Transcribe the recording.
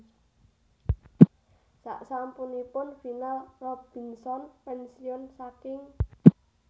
Sasampuning final Robinson pénsiun saking